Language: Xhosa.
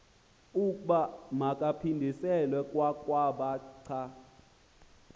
ukuba makaphindiselwe kwakwabhaca